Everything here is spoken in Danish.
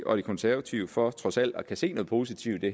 og de konservative for trods alt at kunne se noget positivt i